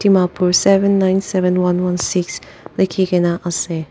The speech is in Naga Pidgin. Mapur seven nine seven one one six lekhi kena ase.